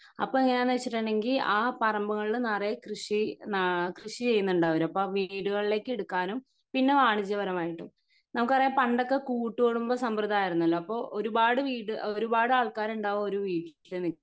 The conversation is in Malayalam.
അപ്പൊ എങ്ങിനാന്ന് വെച്ചിട്ടുണ്ടെങ്കി ആ പറമ്പുകളിൽ നറയെ കൃഷി കൃഷി ചെയ്യുന്നുണ്ട് അവർ അപ്പോ ആ വീടുകളിലേക്ക് എടുക്കാനും പിന്നെ വാണിജ്യപരമായിട്ടും നമുക്കറിയാം പണ്ടൊക്കെ കൂട്ടുകുടുംബം സമ്പ്രദായം ആയിരുന്നല്ലോ അപ്പൊ ഒരുപാട് വീട് ഒരുപാട് ആൾകാർ ഉണ്ടാവും ഒരു വീട്ടിൽ